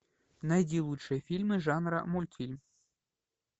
найди лучшие фильмы жанра мультфильм